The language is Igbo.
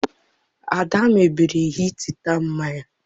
Ada mebiri hita nne ya.